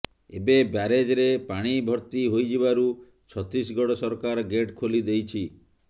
ଏବେ ବ୍ୟାରେଜରେ ପାଣି ଭର୍ତ୍ତି ହୋଇଯିବାରୁ ଛତିଶଗଡ଼ ସରକାର ଗେଟ୍ ଖୋଲି ଦେଇଛି